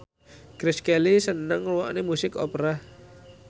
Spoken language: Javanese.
Grace Kelly seneng ngrungokne musik opera